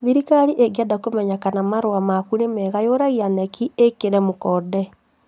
Thirikari ĩngĩenda kũmenya kana marũa maku nĩ mega yũragia KNEC ĩkĩre mũkonde